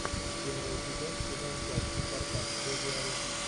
первый эпизод сезон пять спартак боги арены